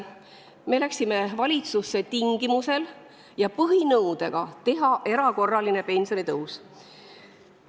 Me läksime valitsusse tingimusel, et tuleb teha erakorraline pensionitõus, see oli meie põhinõue.